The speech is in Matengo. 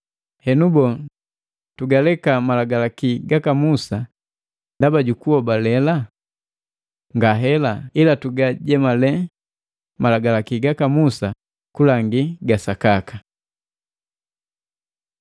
Henu boo, tugaleke Malagalaki gaka Musa ndaba jukuhobalela? Ngahela ila tugajemale Malagalaki gaka Musa kulangi ga sakaka.